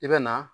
I bɛ na